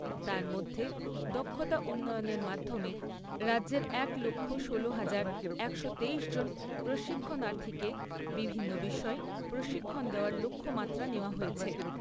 তার মধ্যে দক্ষতা উন্নয়নের মাধ্যমে রাজ্যের এক লক্ষ ষোলো হাজার একশো তেইশ জন প্রশিক্ষণার্থীকে বিভিন্ন বিষয়ে প্রশিক্ষণ দেওয়ার লক্ষ্যমাত্রা নেওয়া হয়েছে।